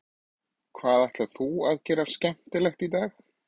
Hvað ætlar þú að gera skemmtilegt í dag?